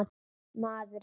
Maður er sáttur.